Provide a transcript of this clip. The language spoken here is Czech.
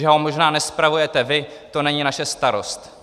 Že ho možná nespravujete vy, to není naše starost!